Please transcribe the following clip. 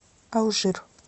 алжир